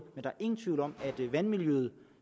men der er ingen tvivl om at vandmiljøet